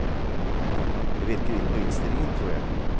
Det virker inn på innstillingen, tror jeg.